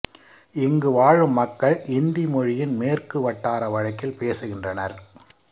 இங்கு வாழும் மக்கள் இந்தி மொழியின் மேற்கு வட்டார வழக்கில் பேசுகின்றனர்